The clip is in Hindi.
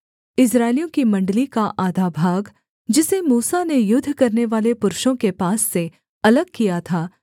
इस्राएलियों की मण्डली का आधा भाग जिसे मूसा ने युद्ध करनेवाले पुरुषों के पास से अलग किया था